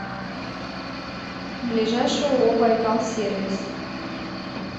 ближайший ооо байкал сервис